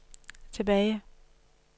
tilbage